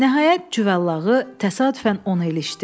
Nəhayət Cüvəllağı təsadüfən onu ilişdi.